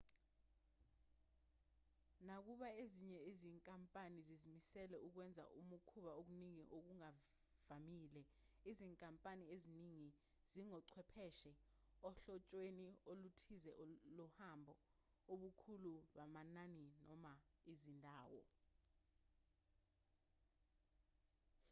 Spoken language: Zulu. nakuba ezinye izinkampani zizimisele ukwenza ukubhukha okuningi okuvamile izinkampani eziningi zingochwepheshe ohlotshweni oluthize lohambo ubukhulu bamanani noma izindawo